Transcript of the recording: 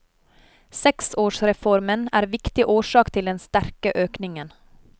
Seksårsreformen er viktigste årsak til den sterke økningen.